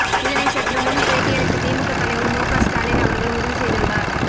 இதனை சற்று முன் பேட்டியளித்த திமுக தலைவர் மு க ஸ்டாலின் அவர்கள் உறுதி செய்துள்ளார்